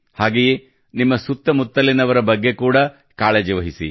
ಹಾಗೆಯೇ ನಿಮ್ಮ ಸುತ್ತ ಮುತ್ತಲಿನವರ ಬಗ್ಗೆ ಕೂಡಾ ಕಾಳಜಿ ವಹಿಸಿ